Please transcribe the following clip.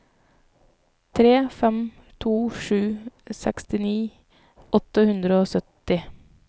tre fem to sju sekstini åtte hundre og sytti